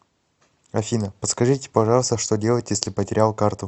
афина подскажите пожалуйста что делать если потерял карту